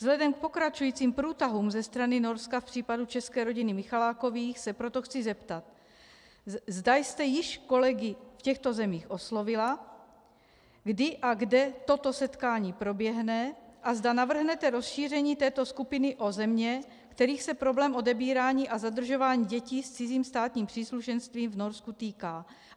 Vzhledem k pokračujícím průtahům ze strany Norska v případu české rodiny Michalákových se proto chci zeptat, zda jste již kolegy v těchto zemích oslovila, kdy a kde toto setkání proběhne a zda navrhnete rozšíření této skupiny o země, kterých se problém odebírání a zadržování dětí s cizím státním příslušenstvím v Norsku týká.